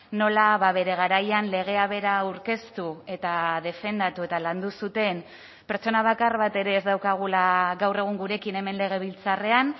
nola bere garaian legea bera aurkeztu eta defendatu eta landu zuten pertsona bakar bat ere ez daukagula gaur egun gurekin hemen legebiltzarrean